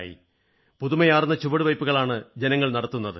പുതുമയാർന്ന ചുവടുവയ്പ്പുകളാണ് ജനങ്ങൾ നടത്തുന്നത്